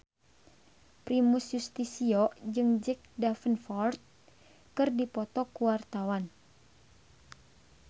Primus Yustisio jeung Jack Davenport keur dipoto ku wartawan